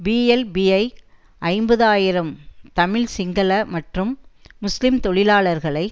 PLPI ஐம்பது ஆயிரம் தமிழ் சிங்கள மற்றும் முஸ்லிம் தொழிலாளர்களை